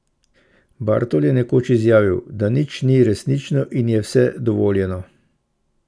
Bartol je nekoč izjavil, da nič ni resnično in je vse dovoljeno.